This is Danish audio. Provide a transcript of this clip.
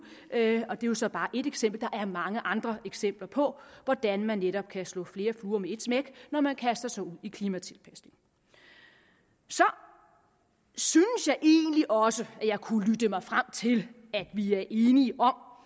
er jo så bare et eksempel der er mange andre eksempler på hvordan man netop kan slå flere fluer med et smæk når man kaster sig ud i klimatilpasning så synes jeg egentlig også at jeg kunne lytte mig frem til at vi er enige om